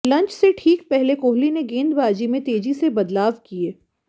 lunch से ठीक पहले कोहली ने गेंदबाजी में तेजी से बदलाव किए